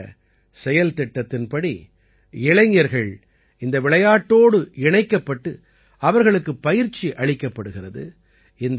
இந்தச் செயல்திட்டத்தின் படி இளைஞர்கள் இந்த விளையாட்டோடு இணைக்கப்பட்டு அவர்களுக்குப் பயிற்சி அளிக்கப்படுகிறது